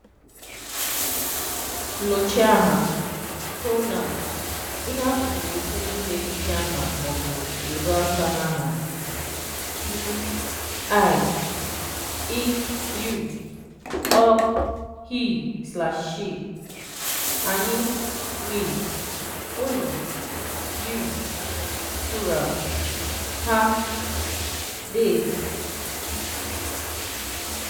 Nnọchiaha (Pronouns): Ihe atụ bụ okwu ndị na-edochi aha ma ọ bụ ezo aka na aha: M (I). Ị (You). Ọ (He/She). Anyị (We). Unu (You, plural). Ha (They).